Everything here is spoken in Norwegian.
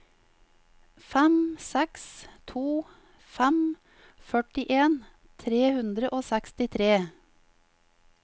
fem seks to fem førtien tre hundre og sekstitre